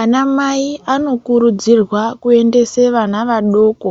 Anamai anokurudzirwa kuendese vana vadoko